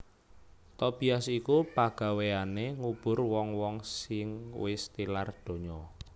Tobias iku pagawéyané ngubur wong wong sing wis tilar donya